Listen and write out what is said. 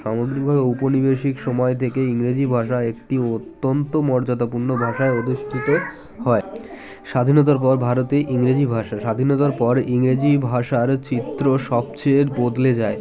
সামগ্রিক ভাবে ঔপনিবেশিক সময় থেকে ইংরেজি ভাষা একটি অত্যন্ত মর্যাদা পূর্ণ ভাষায় অধিষ্টিত হয় স্বাধীনতার পর ভারতে ইংরেজি ভাষা স্বাধীনতার পর ইংরেজি ভাষার চিত্র সবচেয়ে বদলে যায়